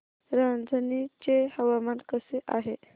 रांझणी चे हवामान कसे आहे